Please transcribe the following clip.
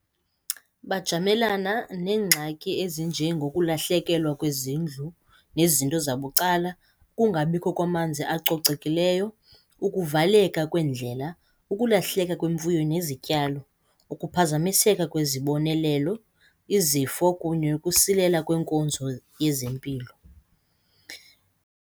Bajamelana neengxaki ezinjengokulahlekelwa kwezindlu nezinto zabucala, ukungabikho kwamanzi acocekileyo, ukuvaleka kweendlela, ukulahleka kwemfuyo nezityalo, ukuphazamiseka kwezibonelelo, izifo kunye ukusilela kwenkonzo yezempilo.